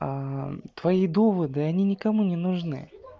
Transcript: твои доводы они никому не нужны